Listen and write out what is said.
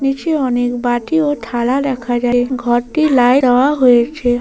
নিচে অনেক বাটি ও থালা দেখা যায় ঘরটি লাইট দাওয়া হয়েছে।